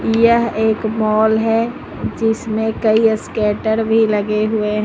यह एक मॉल है जिसमें कई ईस्केटर भी लगे हुए--